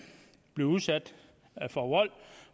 blive udsat for vold